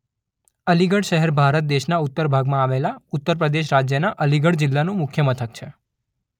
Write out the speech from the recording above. અલીગઢ શહેર ભારત દેશના ઉત્તર ભાગમાં આવેલા ઉત્તર પ્રદેશ રાજ્યના અલીગઢ જિલ્લાનું મુખ્ય મથક છે.